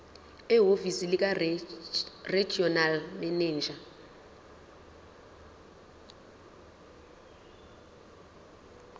ehhovisi likaregional manager